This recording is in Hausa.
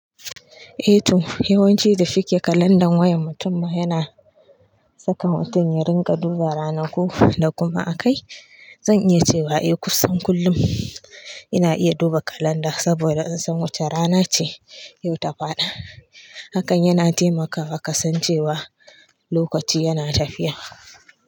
E to, yawanci da suke kalandar wayan mutum ma yana saka mutum ya rinƙa duba ranaku da kuma a kai. Zan iya cewa eh kusan kullum ina iya duba kalanda saboda in san wace rana ce yau ta faɗa. Hakan yana taimaka ka san cewa lokaci yana tafiya.